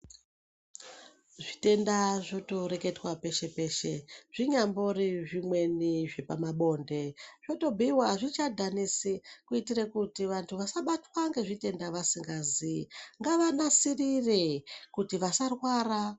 Zvitenda zvotoreketwa peshe peshe zvinyambori zvimweni zvepamabonde. Zvotobhuiwa azvichadhanisi kuitira kuti vanhu vasabatwa ngezvitenda vasingazii. Ngavanasirire kuti vasarwara.